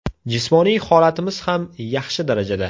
Jismoniy holatimiz ham yaxshi darajada.